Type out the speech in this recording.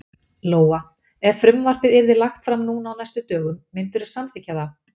Lóa: Ef frumvarpið yrði lagt fram núna á næstu dögum, myndirðu samþykkja það?